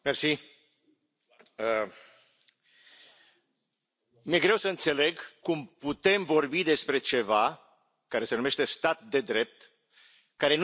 Doamnă președintă, mi e greu să înțeleg cum putem vorbi despre ceva, care se numește stat de drept, care nu e definit.